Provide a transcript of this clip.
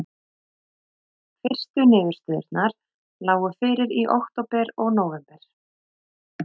Fyrstu niðurstöðurnar lágu fyrir í október og nóvember.